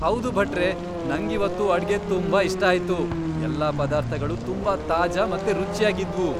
ಹೌದು ಭಟ್ರೇ, ನಂಗಿವತ್ತು ಅಡ್ಗೆ ತುಂಬಾ ಇಷ್ಟ ಆಯ್ತು. ಎಲ್ಲ ಪದಾರ್ಥಗಳೂ ತುಂಬಾ ತಾಜಾ ಮತ್ತೆ ರುಚ್ಯಾಗಿದ್ವು.